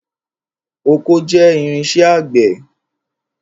Ọkọ́ jẹ́ irinṣẹ́ àgbẹ̀.